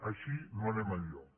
així no anem enlloc